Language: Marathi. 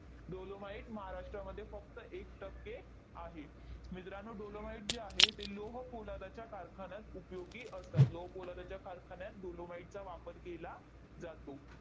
dolomite महाराष्ट्रामध्ये फक्त एक टक्के आहे. मित्रांनो, dolomite जे आहे, ते लोहपोलादाच्या कारखान्यात उपयोगी असतात. लोहपोलादाच्या कारखान्यात dolomite चा वापर केला जातो.